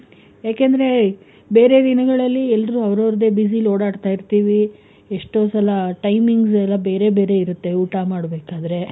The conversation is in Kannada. ಯಾಕಂದ್ರೆ ಬೇರೆ ದಿನಗಳಲ್ಲಿ ಎಲ್ರು ಅವ್ರವ್ರ್ದೆ busy ಲಿ ಓಡಾಡ್ತ ಇರ್ತೀವಿ, ಎಷ್ಟೋ ಸಲ timings ಎಲ್ಲ ಬೇರೆ ಬೇರೆ ಇರುತ್ತೆ ಊಟ ಮಾಡ್ಬೇಕಾದ್ರೆ,